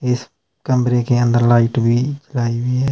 इस कमरे के अंदर लाइट भीं लाई हुई हैं।